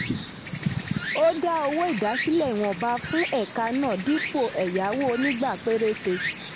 ó dá owó ìdásílẹ̀ ìwọ̀nba fún ẹ̀ka náà dípò ẹ̀yáwó onígbà péréte.